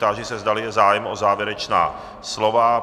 Táži se, zdali je zájem o závěrečná slova.